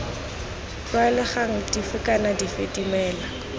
tlwaelegang dife kana dife dimela